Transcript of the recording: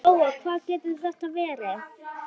Lóa: Hvað getur þetta verið?